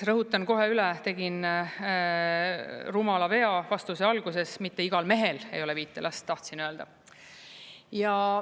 Rõhutan kohe üle, tegin rumala vea vastuse alguses: mitte igal mehel ei ole viite last, tahtsin öelda.